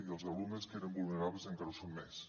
i els alumnes que eren vulnerables encara ho són més